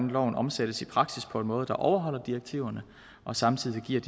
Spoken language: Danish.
loven omsættes i praksis på en måde der overholder direktiverne og samtidig giver